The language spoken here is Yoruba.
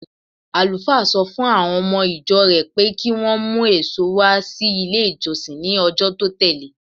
Àlùfáà sọ fún àwọn ọmọ-ìjọ rẹ̀ pé kí wọ́n mú èso wá sí ilé-ìjọsìn ní ọjọ́ tó tẹ̀le.